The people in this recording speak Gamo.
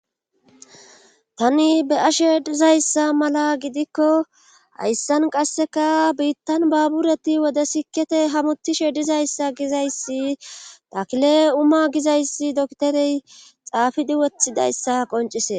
tani be ashe dizayssa mala gidikko hayssan qasseka biittan baabureti wode sikete hamutishe dizayssa gizayssi takle uma gizayssi dokterey xaafidi wothidayssa qoncise